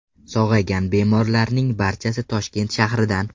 Sog‘aygan bemorlarning barchasi Toshkent shahridan.